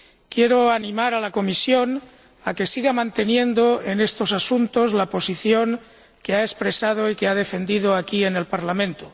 Quiero animar a la Comisión a que siga manteniendo en estos asuntos la posición que ha expresado y que ha defendido aquí, en el Parlamento.